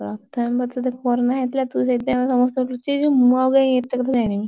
ପ୍ରଥମେ ତତେ corona ହେଇଯାଇଥିଲା ତୁ ସେଇଥିପଇଁ ଆମ ସମସ୍ତଙ୍କୁ ଲୁଚେଇଛୁ ମୁଁ ଆଉକାଇଁ ଏତେ କଥା ଜାଣିବି?